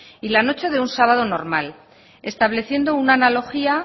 y la noche de un sábado normal estableciendo una analogía